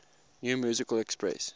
new musical express